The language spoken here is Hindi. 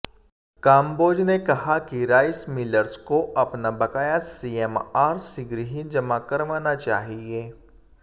कांबोज ने कहा कि राइस मिलर्स को अपना बकाया सीएमआर शीघ्र ही जमा करवाना चाहिए